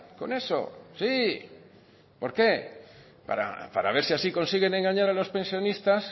con eso sí por qué para ver si así consiguen engañar a los pensionistas